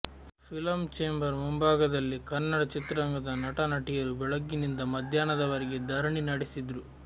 film chamber ಮುಂಭಾಗದಲ್ಲಿ ಕನ್ನಡ ಚಿತ್ರರಂಗದ ನಟ ನಟಿಯರು ಬೆಳಗ್ಗಿನಿಂದ ಮದ್ಯಾಹ್ನದವರೆಗೆ ಧರಣಿ ನಡೆಸಿದ್ರು